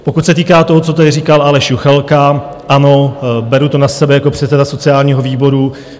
Pokud se týká toho, co tady říkal Aleš Juchelka: ano, beru to na sebe jako předseda sociálního výboru.